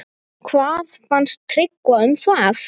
Hvað fannst Tryggva um það?